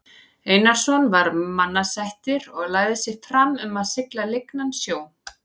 Einarsson var mannasættir og lagði sig fram um að sigla lygnan sjó.